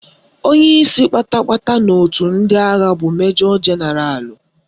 Onyeisi kpata kpata n'otu ndị agha bụ Majọ Jenaralụ